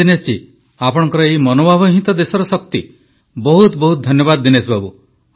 ହଉ ଦିନେଶ ଜୀ ଆପଣଙ୍କର ଏହି ମନୋଭାବ ହିଁ ତ ଦେଶର ଶକ୍ତି ବହୁତ ବହୁତ ଧନ୍ୟବାଦ ଦିନେଶ ବାବୁ